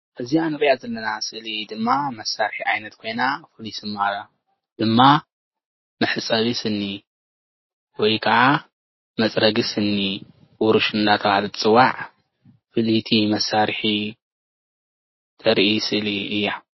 እዚኣ ንሪኣ ዘለና ስእሊ ድማ መሳርሒ ዓይነት ኮይና መሕፀቢ ስኒ ወይ ከዓ መፅረጊ ስኒ ቡሩሽ እናተበሃለት ትፅዋዕ ፍሊይቲ መሳርሒ ተረኢ ምስሊ እያ።